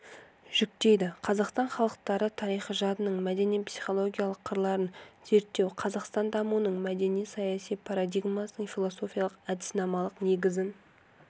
жүктейді қазақстан халықтары тарихи жадының мәдени-психологиялық қырларын зерттеу қазақстан дамуының мәдени-саяси парадигмасының философиялық әдіснамалық негізін